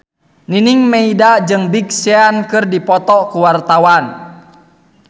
Nining Meida jeung Big Sean keur dipoto ku wartawan